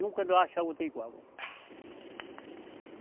Nunca achar outra igual.